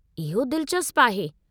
इहो दिलचस्पु आहे।